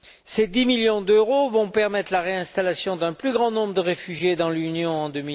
Ces 10 millions d'euros vont permettre la réinstallation d'un plus grand nombre de réfugiés dans l'Union en